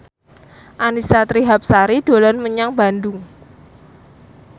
Annisa Trihapsari dolan menyang Bandung